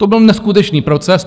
To byl neskutečný proces.